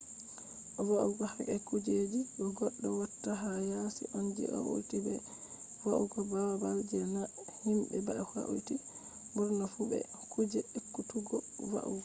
va’ugo ka’e kuje je goddo watta ha yasi on je hauti be va’ugo babal je na himbe ba hauti burna fu be kuje ekkutuggo va’ugo